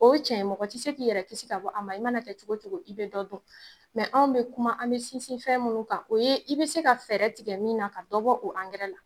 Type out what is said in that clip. O ye cɛn ye, mɔgɔ tɛ se k'i yɛrɛ kisi ka bɔ ankɛrɛ ma, i mana kɛ cogo cogo, i bɛ dɔ dun , mɛ anw bɛ kuma, an bɛ sinsin fɛn minnu kan , o ye i bɛ se ka fɛɛrɛ tigɛ min na ka dɔ bɔ o ankɛrɛ la.